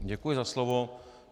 Děkuji za slovo.